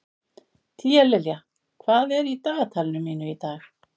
Tíalilja, hvað er í dagatalinu mínu í dag?